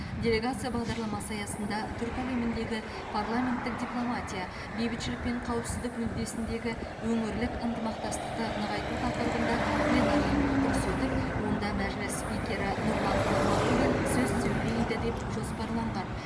делегация бағдарламасы аясында түркі әлеміндегі парламенттік дипломатия бейбітшілік пен қауіпсіздік мүддесіндегі өңірлік ынтымақтастықты нығайту тақырыбында пленарлық отырыс өтіп онда мәжіліс спикері нұрлан нығматулин сөз сөйлейді деп жоспарланған